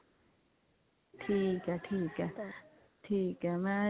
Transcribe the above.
ਠੀਕ ਹੈ ਠੀਕ ਹੈ